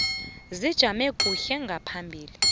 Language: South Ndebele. zijame kuhle ngaphambi